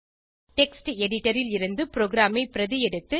text editor ல் இருந்து ப்ரோகிராமை பிரதி எடுத்து